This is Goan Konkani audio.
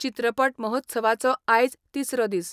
चित्रपट महोत्सवाचो आयज तिसरो दिस.